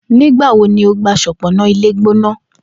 Nigbawo ni o gba ṣọpọnna ilegbona?